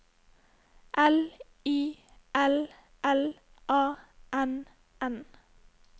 L I L L A N N